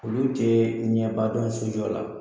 Olu tɛ ɲɛba dɔn so jɔ la.